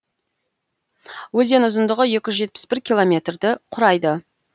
өзен ұзындығы екі жүз жетпіс бір километрді құрайды